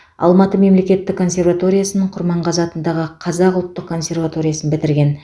алматы мемлекеттік консерваториясын құрманғазы атындағы қазақ ұлттық консерваториясын бітірген